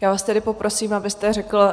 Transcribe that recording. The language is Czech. Já vás tedy poprosím, abyste řekl